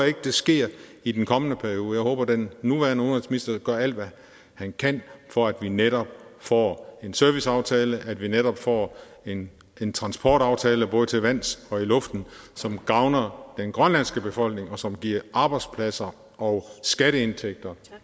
ikke sker i den kommende periode jeg håber den nuværende udenrigsminister gør alt hvad han kan for at vi netop får en serviceaftale at vi netop får en en transportaftale både til vands og i luften som gavner den grønlandske befolkning og som giver arbejdspladser og skatteindtægter